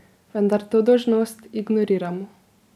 Vendar to dolžnost ignoriramo.